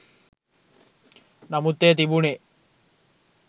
නමුත් එය තිබුණේ